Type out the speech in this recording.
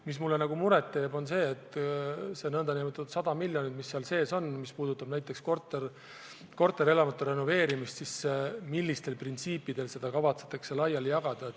Mis mulle muret teeb, on see, et seal on sees 100 miljonit, mis puudutab korterelamute renoveerimist, aga me ei tea, millistel printsiipidel seda kavatsetakse jagada.